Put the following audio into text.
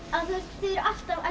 þið eruð alltaf að